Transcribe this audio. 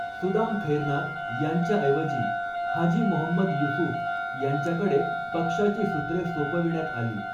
सुदाम खैरनार यांच्याऐवजी हाजी मोहम्मद युसूफ यांच्याकडे पक्षाची सूत्रे सोपविण्यात आली.